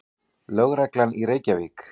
Lögreglunnar í Reykjavík.